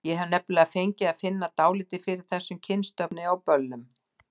Ég hef nefnilega fengið að finna dálítið fyrir þessum kynstofni á böllum.